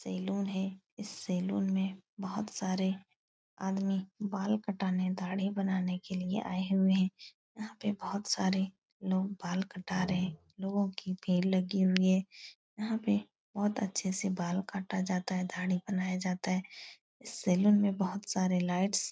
Salon है। इस saloon में बहुत सारे आदमी बाल कटाने दाढ़ी बनाने के लिए आये हुए हैं। यहाँ पर बहुत सारे लोग बाल कटा रहे हैं। लोगो की भीड़ लगी हुई है। यहाँ पर बहुत अच्छे से बाल काटा जाता है दाढ़ी बनाया जाता है। इस सैलून में बहुत सारे लाइट्स --